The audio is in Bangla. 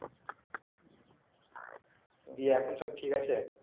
দিয়ে এখন সব ঠিক আছে